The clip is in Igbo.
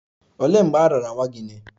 Olee mgbe a raara nwa gị nye?